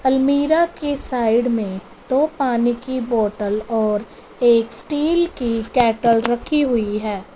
अलमीरा के साइड में दो पानी की बोटल और एक स्टील की कैटल रखी हुई है।